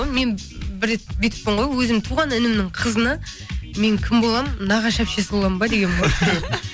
мен бір рет бүйтіппін ғой өзімнің туған інімнің қызына мен кім боламын нағашы әпшесі боламын ба дегенмін ғой